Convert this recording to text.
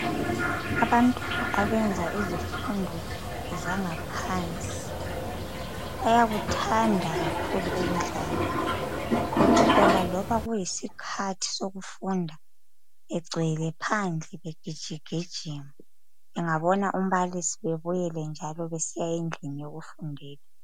Abantwana abenza izifundo zangaphansi, bayakuthanda kakhulu ukudlala. Uthola loba kuyisikhathi sokufunda begcwele phandle begijigijima, bengabona umbalisi bebuyele njalo besiya endlini yokufundela